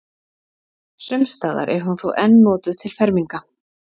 Sums staðar er hún þó enn notuð til ferminga.